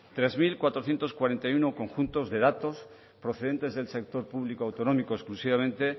tres mil cuatrocientos cuarenta y uno conjunto de datos procedentes del sector publico autonómico exclusivamente